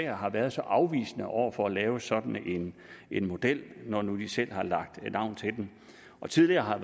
har været så afvisende over for at lave sådan en model når nu de selv har lagt navn til den tidligere har